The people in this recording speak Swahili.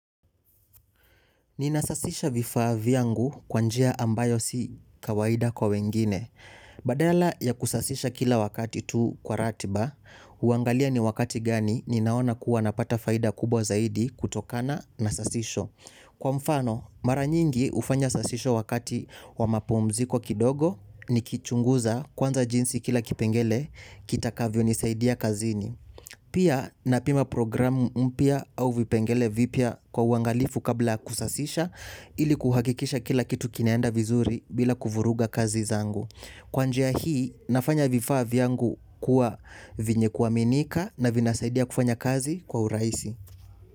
Ninasasisha vifaa vyangu kwa njia ambayo si kawaida kwa wengine. Badala ya kusasisha kila wakati tuu kwa ratiba, uangalia ni wakati gani ni naona kuwa napata faida kubwa zaidi kutokana na sasisho. Kwa mfano, mara nyingi ufanya sasisho wakati wa mapumziko kidogo ni kichunguza kwanza jinsi kila kipengele kita kavyo nisaidia kazini. Pia na pima programu mpya au vipengele vipya kwa uangalifu kabla kusasisha ili kuhakikisha kila kitu kinaenda vizuri bila kuvuruga kazi zangu. Kwa njia hii nafanya vifaa vyangu kuwa vyenye kuaminika na vinasaidia kufanya kazi kwa urahisi.